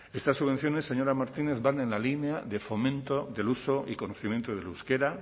estas subvenciones señora martínez van en la línea de fomento del uso y conocimiento del euskera